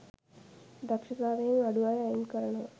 දක්ෂතාවයෙන් අඩු අය අයින් කරනවා.